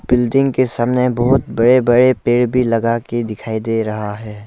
Building के सामने बहुत बड़े बड़े पेड़ भी लगा के दिखाई दे रहा है।